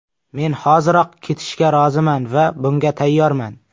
Men hoziroq ketishga roziman va bunga tayyorman.